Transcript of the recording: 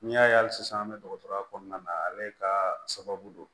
N'i y'a ye hali sisan an bɛ dɔgɔtɔrɔya kɔnɔna na ale ka sababu don